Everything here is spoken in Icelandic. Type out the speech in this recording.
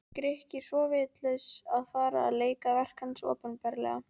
Grikki svo vitlaus að fara að leika verk hans opinberlega.